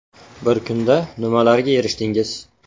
Bir kunda nimalarga erishdingiz ?